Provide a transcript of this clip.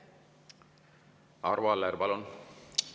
Arvo Aller, palun!